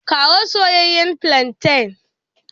Kawo soyeyyen flantain.